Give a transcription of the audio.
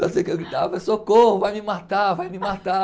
Só sei que eu gritava, socorro, vai me matar, vai me matar.